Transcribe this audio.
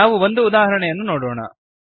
ನಾವು ಒಂದು ಉದಾಹರಣೆಯನ್ನು ನೋಡೋಣ